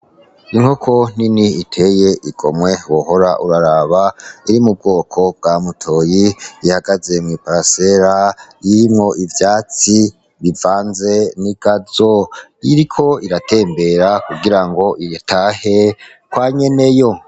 Inkoko nini iteye igomwe wohora uraraba iri mu bwoko bwa mutoyi, ihagaze mu butaka burimwo ivyatsi bivanze ni gazo, iriko iratembera kugira ngo itahe kwa Nyeneyo.